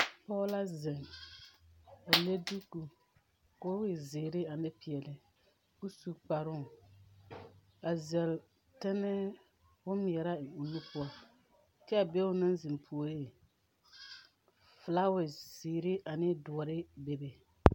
Poge la zeŋ a le duku ka o e ziire ane piɛle ka o su kparo a zɛle tenɛ bonmɛɛraa eŋ o nu poʊ. Kyɛ a be o na zeŋ pooreŋ, fulawa ziire ane duore bebe